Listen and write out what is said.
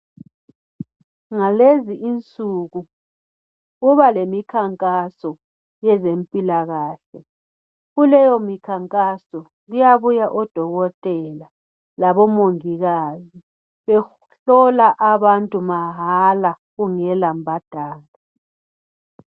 Ngalezi insuku kuba leminkankaso yezemphilakahle. Kuleyo minkankaso kuyabuya odokotela labomungikazi behlola abantu mahala kungela mbhadalo.